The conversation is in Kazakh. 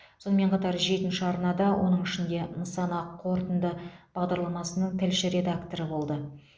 сонымен қатар жетінші арнада оның ішінде нысана қорытынды бағдарламасының тілші редакторы болды